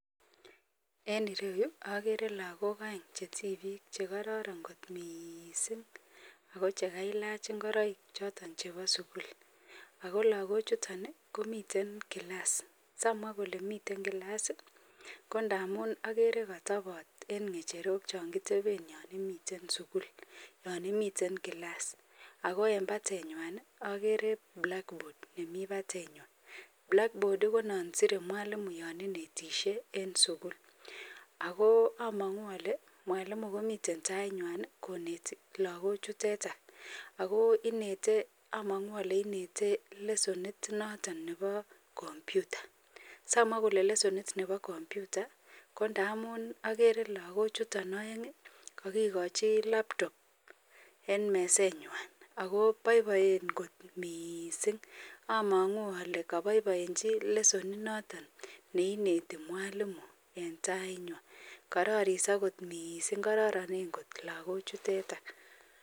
en ireyuu ogere lagook oeng chetibiik chegororon kot miiising ago chegailach ngoroik choton chebo sugul, ago lagok chuton iih komiten kilaas samwa kole miten kilaas iih ko ndamuun ogere kotobot en ngecherook chon kitebeen yoo imiten sugul yoon imiten kilaas, ago en bateywaan iih ogeree blackboard nemii batenywaan, blackboard iih konon siire mwalimu yon inetisyee en sugul, agoo omonguu ole mwalimu komiten taiywaan iih koneti logok chuteten ago inetee omonguu ole inete lesonit noton nebo kompyuta, samwaa kole lesonit nebo kompyuta ko ndamuun ogere lagok chuton oeng iih kogigochi laptop en meseet nywaan agoo boiboeen kot miiising, omonguu ole lesonit noton neinete mwalimu en tainywaan kororiso koot miiising kororonen koot logook chutetan.